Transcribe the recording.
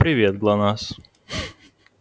привет глонассс